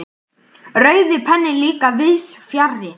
Rauði penninn líka víðs fjarri.